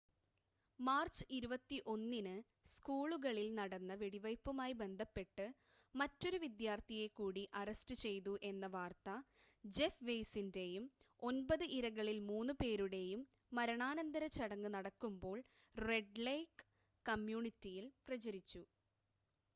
March 21-ന് സ്കൂളിൽ നടന്ന വെടിവെയ്പ്പുമായി ബന്ധപ്പെട്ട് മറ്റൊരു വിദ്യാർത്ഥിയെ കൂടി അറസ്റ്റ് ചെയ്തു എന്ന വാർത്ത ജെഫ് വെയ്സിൻ്റെയും ഒൻപത് ഇരകളിൽ മൂന്ന് പേരുടെയും മരണാനന്തര ചടങ്ങ് നടക്കുമ്പോൾ റെഡ് ലേക് കമ്മ്യൂണിറ്റിയിൽ പ്രചരിച്ചു